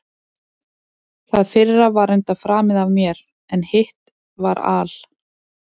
Það fyrra var reyndar framið af mér, en hitt var al